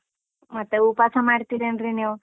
ಮತ್ತೇ, ಉಪಾಸ ಮಾಡ್ತೀರೇನ್ರೀ ನೀವು?